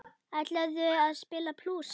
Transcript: Ætlarðu að spila blús?